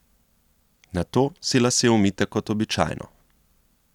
Nato si lase umijte kot običajno.